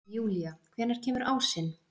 Júlía, hvenær kemur ásinn?